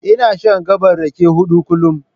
Ina shan gaɓar rake huɗu kullum.